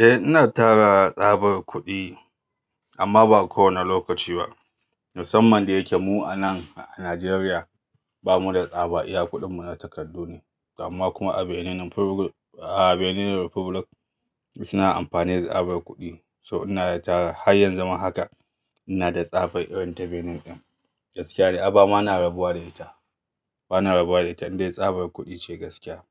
Eh ina tara tsabar kuɗi amma ba kowane lokaci ba. Musamman da yake mu anan a Najeriya bamu da tsaba iya kuɗin mu na takardu ne amma kuma a Benin Republic suna amfani da tsabar kuɗi. So ina da tara har yanzu ma haka ina da tsabar irin ta Benin ɗin gaskiya ne amma bana rabuwa da ita, bana rabuwa da ita indai tsabar kuɗi ce gaskiya